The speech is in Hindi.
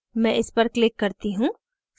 मैं इस पर click करती हूँ